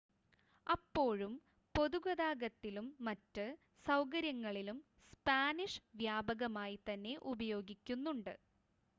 അപ്പോഴും പൊതുഗതാഗതത്തിലും മറ്റ് സൗകര്യങ്ങളിലും സ്പാനിഷ് വ്യാപകമായി തന്നെ ഉപയോഗിക്കുന്നുണ്ട്